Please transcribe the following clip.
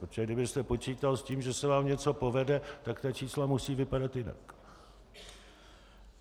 Protože kdybyste počítal s tím, že se vám něco povede, tak ta čísla musí vypadat jinak.